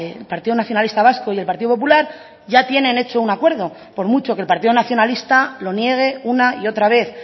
el partido nacionalista vasco y el partido popular ya tienen hecho un acuerdo por mucho que el partido nacionalista lo niegue una y otra vez